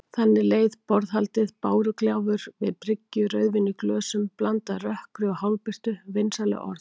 Þannig leið borðhaldið: bárugjálfur við bryggju, rauðvín í glösum, blandað rökkri og hálfbirtu, vinsamleg orð.